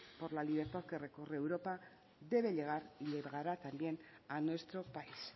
por la libertad que recorre europa debe llegar y llegará también a nuestro país